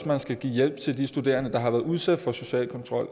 man skal give hjælp til de studerende der har været udsat for social kontrol